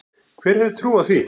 Hver hefði trúað því?